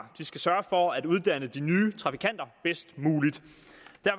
de skal sørge for at uddanne de nye trafikanter bedst muligt